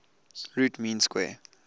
root mean square